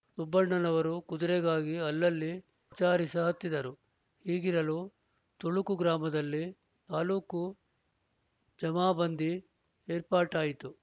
ಸುಬ್ಬಣ್ಣನವರು ಕುದುರೆಗಾಗಿ ಅಲ್ಲಲ್ಲಿ ವಿಚಾರಿಸಹತ್ತಿದರು ಹೀಗಿರಲು ತುಳುಕು ಗ್ರಾಮದಲ್ಲಿ ತಾಲ್ಲೂಕು ಜಮಾಬಂದಿ ಏರ್ಪಾಟಾಯಿತು